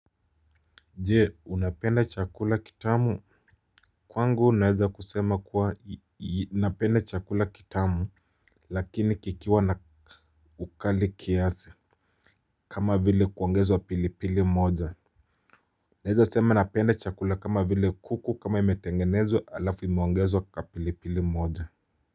Je unapenda chakula kitamu? Kwangu naeza kusema kuwa napenda chakula kitamu lakini kikiwa na ukali kiasi kama vile kuongezwa pilipili moja. Naeza sema napenda chakula kama vile kuku kama imetengenezwa alafu imeongezwa kapilipili moja.